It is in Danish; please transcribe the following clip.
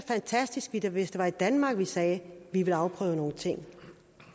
fantastisk hvis det var i danmark vi sagde at vi ville afprøve nogle ting